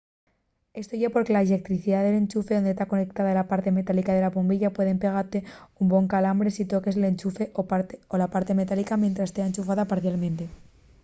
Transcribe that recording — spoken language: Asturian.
esto ye porque la lletricidá del enchufe onde ta conectada la parte metálica de la bombilla puede pegate un bon calambre si toques l'enchufe o la parte metálica mientres tea enchufada parcialmente